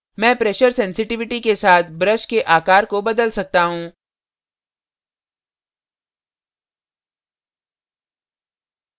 मैं pressure sensitivity के साथ brush के आकार को बदल सकता हूँ